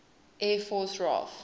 air force raaf